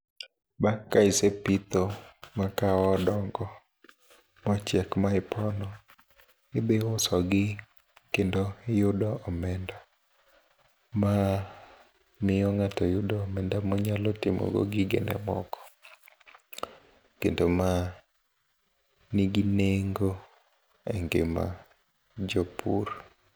Bang' ka isepitho makahawa odongo mochiek maipono idhi usogi kendo iyudo omenda mamiyo ng'ato yudo omenda monyalo timogo gigene moko, kendo ma nigi nengo e ngima jopur.